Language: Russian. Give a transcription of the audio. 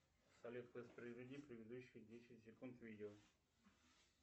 салют воспроизведи предыдущие десять секунд видео